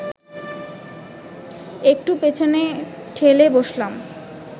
একটু পেছনে ঠেলে বসলাম